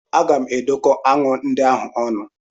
Aga m edokọ aṅụ ndị ahụ ọnụ.